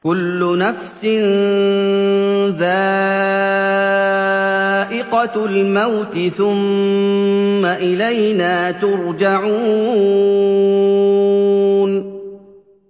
كُلُّ نَفْسٍ ذَائِقَةُ الْمَوْتِ ۖ ثُمَّ إِلَيْنَا تُرْجَعُونَ